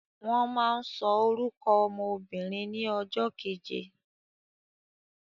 Wọ́n máa ń sọ orúkọ ọmọ obìnrin ní ọjọ́ keje